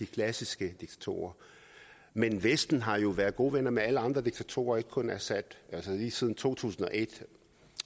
klassiske diktatorer men vesten har jo været gode venner med alle andre diktatorer ikke kun assad lige siden to tusind og et